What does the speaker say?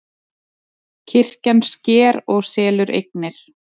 Kirkjan sker og selur eignir